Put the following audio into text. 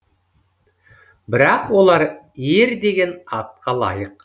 бірақ олар ер деген атқа лайық